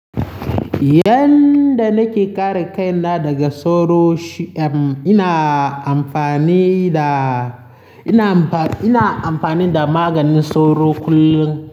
Yanda nake kare kaina daga soro shi, um, ina amfani da, ina amfani da maganin soro kullum.